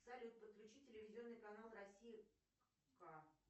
салют подключить телевизионный канал россия к